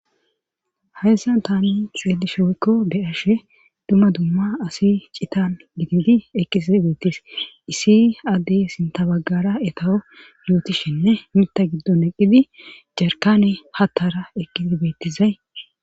heessan tani xeelishe woykko beyashe dumma dumma asi citan gididi eqqisi beettis isi addey sintabagara etaho yootishinne mita giddon eqqidi jarkane hattara eqqizi bettizay